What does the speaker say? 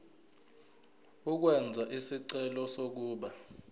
ukwenza isicelo sokuba